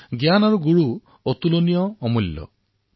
জ্ঞান আৰু গুৰু অতুলনীয় হয় অমূল্য হয়